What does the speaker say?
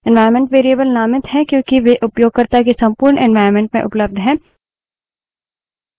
environment variables नामित हैं क्योंकि वे उपयोगकर्ता के संपूर्ण environment में उपलब्ध हैं